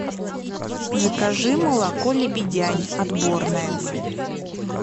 закажи молоко лебедянь отборное